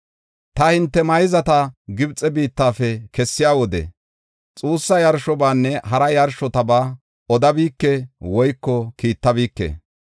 Ta hinte mayzata Gibxe biittafe kessiya wode, xuussa yarshobanne hara yarshotaba odabike woyko kiittabike.